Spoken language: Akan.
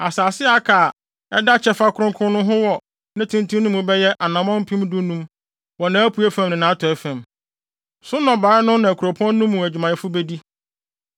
Asase a aka a ɛda kyɛfa kronkron no ho wɔ ne tenten mu no bɛyɛ anammɔn mpem dunum (15,000) wɔ nʼapuei fam ne nʼatɔe fam. So nnɔbae no na kuropɔn no mu adwumayɛfo bedi.